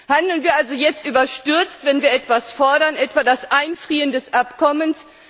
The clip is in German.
Handeln wir also jetzt überstürzt, wenn wir etwas fordern, etwa das Einfrieren des Abkommens?